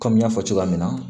Kɔmi n y'a fɔ cogoya min na